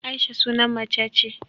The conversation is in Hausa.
Aisha sunan macce ce